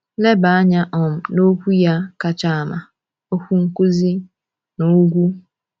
Leba anya um na okwu ya kacha ama—Okwu Nkuzi n’Ugwu.